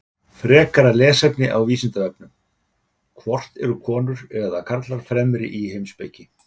Frekara lesefni á Vísindavefnum: Hvort eru konur eða karlar fremri í heimspeki?